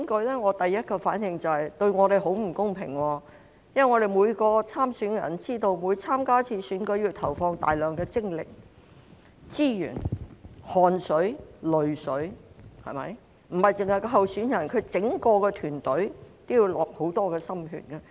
我的第一個反應是，這樣對候選人很不公平，因為每位參選人也知道，每次參加選舉也要投放大量精力、資源、汗水、淚水，不單候選人，其整個團隊也要花上很多心血。